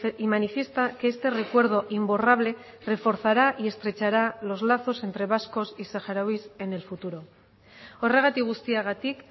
y manifiesta que este recuerdo imborrable reforzará y estrechará los lazos entre vascos y saharauis en el futuro horregatik guztiagatik